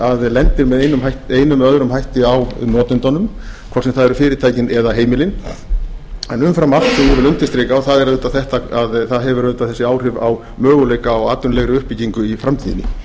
leið að lendir með einum eða öðrum hætti á notendunum hvort sem það eru fyrirtækin eða heimilin en umfram allt sem ég vil undirstrika og það er auðvitað þetta að það hefur þessi áhrif á möguleika á atvinnulegri uppbyggingu í framtíðinni